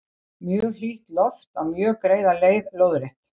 Mjög hlýtt loft á mjög greiða leið lóðrétt.